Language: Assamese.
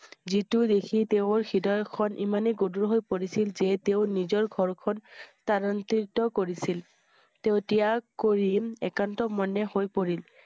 যিটো দেখি তেওঁৰ হৃদয় খন ইমানেই গধূৰ হৈ পৰিছিল যে তেওঁ নিজৰ ঘৰ খন কৰিছিল। তেওঁ ত্যাগ কৰি একান্ত মনে হৈ পৰিল।